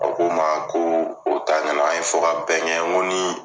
O ko n ma ko o ta an ye fɔ kabɛn kɛ n ko ni